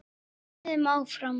Við vöðum áfram.